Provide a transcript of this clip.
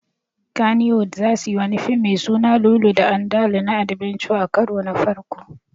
Kannywood zasuyi wani fim me suna Lulu da Andalu na adbenture a karo na farko